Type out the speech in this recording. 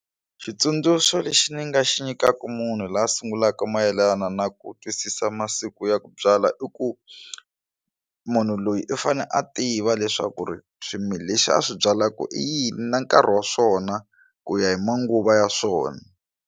Xitsundzuxo lexi ni nga xi nyikaku munhu loyi a sungulaka mayelana na ku twisisa masiku ya ku byala i ku munhu loyi u fane a tiva leswaku ri swimila lexi a swi byalaka i yini na nkarhi wa swona ku ya hi manguva ya swona.